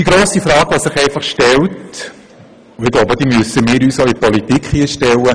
Die grosse Frage, die sich hier stellt, müssen wir uns auch in der Politik stellen: